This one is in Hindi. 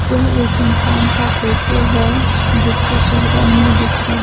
यह एक इंसान का फोटो है जिसका चेहरा नहीं दिख रहा--